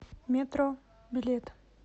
метро билет